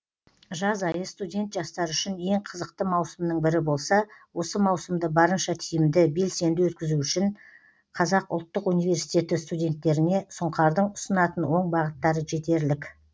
жаз айы студент жастар үшін ең қызықты маусымның бірі болса осы маусымды барынша тиімді белсенді өткізу үшін қазақ ұлттық университеті студенттеріне сұңқардың ұсынатын оң бағыттары жетерлік